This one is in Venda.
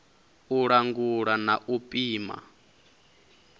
u langula na u pima